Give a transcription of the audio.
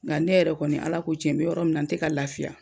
Nga ne yɛrɛ kɔni Ala ko tiɲɛ n bɛ yɔrɔ min na n tɛ ka lafiya.